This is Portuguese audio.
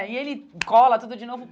E ele cola tudo de novo.